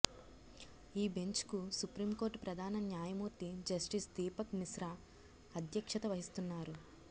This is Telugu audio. ఈ బెంచ్కు సుప్రీం కోర్టు ప్రధాన న్యాయమూర్తి జస్టిస్ దీపక్ మిశ్రా అధ్యక్షత వహిస్తున్నారు